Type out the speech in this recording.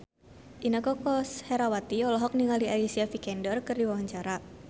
Inneke Koesherawati olohok ningali Alicia Vikander keur diwawancara